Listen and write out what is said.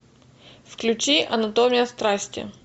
включи анатомия страсти